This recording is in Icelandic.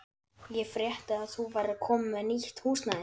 Ég frétti að þú værir komin með nýtt húsnæði.